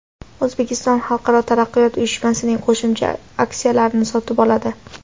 O‘zbekiston Xalqaro taraqqiyot uyushmasining qo‘shimcha aksiyalarini sotib oladi.